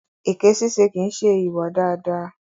Èké ṣíṣe kìí ṣe ìwà dáadáa.